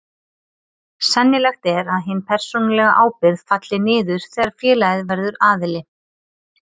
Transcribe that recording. Sennilegt er að hin persónulega ábyrgð falli niður þegar félagið verður aðili.